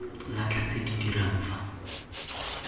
latlha tse di dirang fa